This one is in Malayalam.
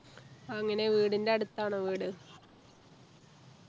അങ്ങനെ വീടിൻ്റെ അടുത്താണോ വീട്